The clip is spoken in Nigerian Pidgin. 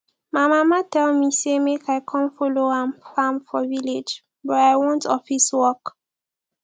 my mama tell me say make i come follow am farm for village but i want office work